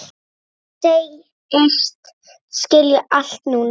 Segist skilja allt núna.